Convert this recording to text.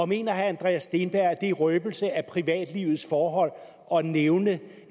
mener herre andreas steenberg at det er røbelse af privatlivets forhold at nævne